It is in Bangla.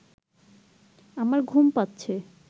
আমার ঘুম পাচ্ছে